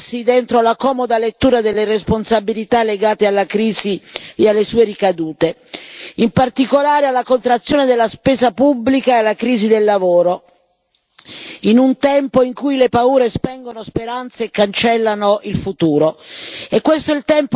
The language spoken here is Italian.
Non basta rifugiarsi dentro la comoda lettura delle responsabilità legate alla crisi e alle sue ricadute, in particolare alla contrazione della spesa pubblica e alla crisi del lavoro, in un tempo in cui le paure spengono speranze e cancellano il futuro.